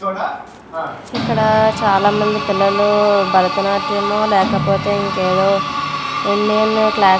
ఇక్కడ చాలా మంది పిల్లలు భరతనాట్యం లేకపోతే ఇంకా ఏవో ఎన్నెనో క్లా --